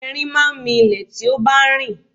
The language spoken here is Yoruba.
Ẹrin máa ń mi ilé tí ó bá ń rìn